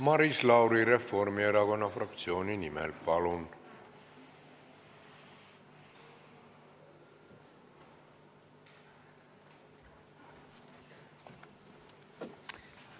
Maris Lauri Reformierakonna fraktsiooni nimel, palun!